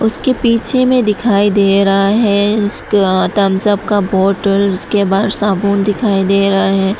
के पीछे में दिखाई दे रहा है इसका थम्सअप का बॉटल उसके बाद साबुन दिखाई दे रहा है।